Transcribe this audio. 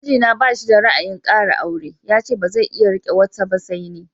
Mijina ba shi da ra'ayin ƙara aure, yace bazai iya riƙe wata ba sai ni.